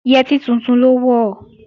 Yẹtí tuntun ló wọ̀